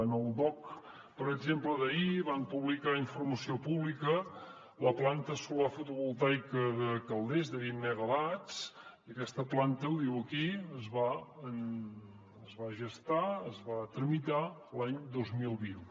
en el dogc per exemple d’ahir van publicar informació pública la planta solar fotovoltaica de calders de vint megawatts i aquesta planta ho diu aquí es va gestar es va tramitar l’any dos mil vint